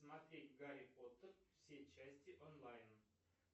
смотреть гарри поттер все части онлайн